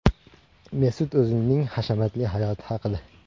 Mesut O‘zilning hashamatli hayoti haqida.